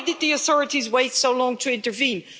Why did the authorities wait so long to intervene?